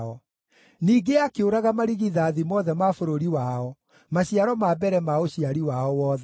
Ningĩ akĩũraga marigithathi mothe ma bũrũri wao, maciaro ma mbere ma ũciari wao wothe.